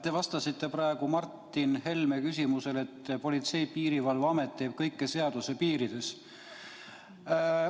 Te vastasite praegu Martin Helme küsimusele, et Politsei- ja Piirivalveamet teeb kõike seaduse piirides.